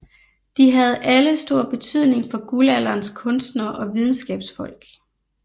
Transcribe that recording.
De havde alle stor betydning for Guldalderens kunstnere og videnskabsfolk